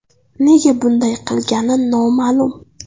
Nega bunday qilgani noma’lum.